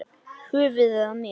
Höfuðið á mér